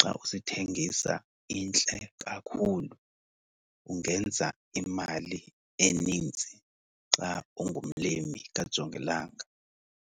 xa usithengisa intle kakhulu. Ungenza imali enintsi xa ungumlimi kajongilanga.